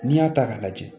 N'i y'a ta k'a lajɛ